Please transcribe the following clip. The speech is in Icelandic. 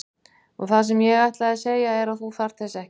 Og það sem ég ætlaði að segja er að þú þarft þess ekki.